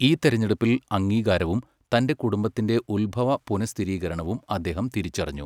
ഈ തിരഞ്ഞെടുപ്പിൽ അംഗീകാരവും തന്റെ കുടുംബത്തിന്റെ ഉത്ഭവ പുനഃസ്ഥിരീകരണവും അദ്ദേഹം തിരിച്ചറിഞ്ഞു.